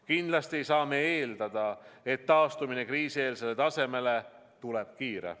Kindlasti ei saa me eeldada, et taastumine kriisieelsele tasemele tuleb kiire.